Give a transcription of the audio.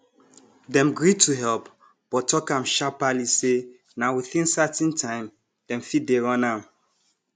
dem gree to help but talk am sharperly say na within certain time dem fit dey run am